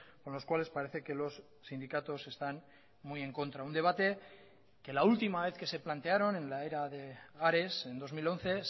con los cuales parece que los sindicatos están muy en contra un debate que la última vez que se plantearon en la era de ares en dos mil once